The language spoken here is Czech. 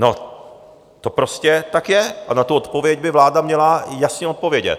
No to prostě tak je a na tu odpověď by vláda měla jasně odpovědět.